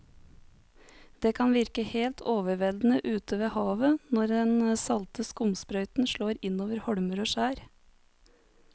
Det kan virke helt overveldende ute ved havet når den salte skumsprøyten slår innover holmer og skjær.